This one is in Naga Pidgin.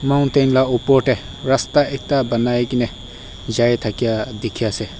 mountain lah upor teh rasta ekta banai ke ne jai thakia dikhi ase.